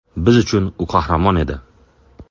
Biz uchun u qahramon edi.